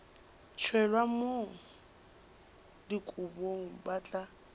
tšhelwa mo dikobong ba tla